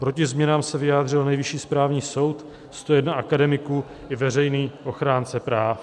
Proti změnám se vyjádřil Nejvyšší správní soud, 101 akademiků i veřejný ochránce práv."